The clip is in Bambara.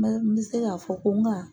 N bɛ n bɛ se k'a fɔ ko n ka